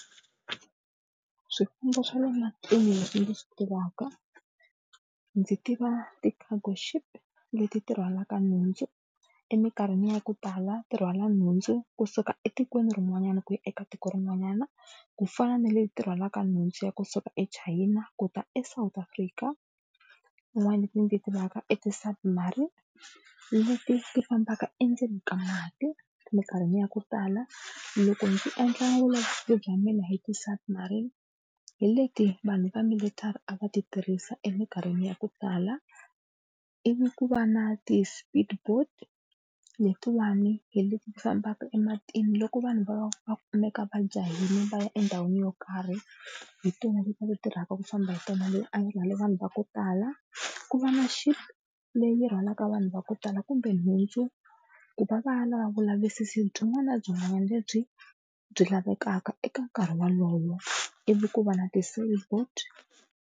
Swifambo swa le matini leswi ndzi swi tivaka ndzi tiva ti-cargo ship leti ti rhwalaka nhundzu eminkarhini ya ku tala ti rhwala nhundzu kusuka etikweni rin'wanyani ku ya eka tiko rin'wanyana ku fana na leti rhwalaka nhundzu ya kusuka eChina ku ta eSouth Africa. Tin'wana leti ndzi ti tivaka i ti-Submarine leti ti fambaka endzeni ka mati, eminkarhini ya ku tala loko ndzi endla vulavisisi bya mina hi ti-Submarine hi leti vanhu va military a va ti tirhisa eminkarhini ya ku tala. Ivi ku va na ti-Speed boat letiwani hi leti fambaka ematini loko vanhu va va va kumeka va jahile va ya endhawini yo karhi hi tona leti tirhaka ku famba hi tona leyi a yi rhwale vanhu va ku tala. Ku va na Ship leyi rhwalaka vanhu va ku tala kumbe nhundzu ku va va ya lava vulavisisi byin'wana na byin'wanyana lebyi byi lavekaka eka nkarhi wolowo, ivi ku va na ti boat.